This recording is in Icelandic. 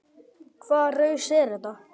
Hvaða raus er þetta?